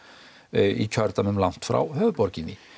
í kjördæmum langt frá höfuðborginni